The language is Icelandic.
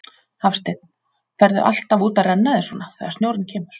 Hafsteinn: Ferðu alltaf út að renna þér svona, þegar snjórinn kemur?